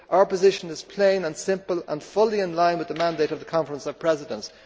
Our position is plain and simple and fully in line with the mandate of the Conference of Presidents.